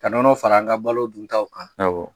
Ka nɔnɔ fara an ka balo duntaw, awɔ